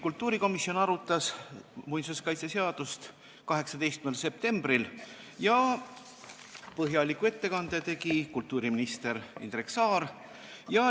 Kultuurikomisjon arutas muinsuskaitseseadust 18. septembril ja põhjaliku ettekande tegi kultuuriminister Indrek Saar.